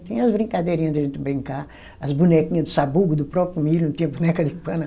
Tinha as brincadeirinha da gente brincar, as bonequinha de sabugo do próprio milho, não tinha boneca de pano.